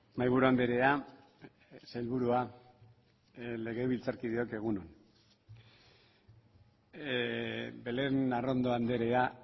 mahaiburu andrea sailburua legebiltzarkideok egun on belén arrondo andrea